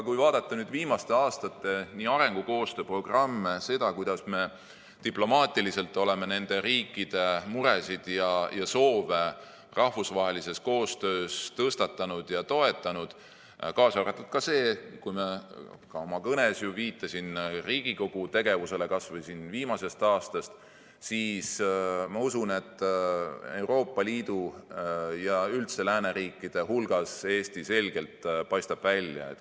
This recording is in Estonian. Kui vaadata viimaste aastate arengukoostöö programme, seda, kuidas me diplomaatiliselt oleme nende riikide muresid ja soove rahvusvahelises koostöös tõstatanud ja neid toetanud , siis ma usun, et Euroopa Liidu ja üldse lääneriikide hulgas paistab Eesti selgelt välja.